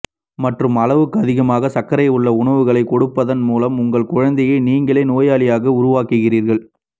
மற்றும் அளவுக்கு அதிகமான சர்க்கரை உள்ள உணவுகளைக் கொடுப்பதன் மூலம் உங்கள் குழந்தையை நீங்களே நோயாளியாக உருவாக்குகிறீர்கள்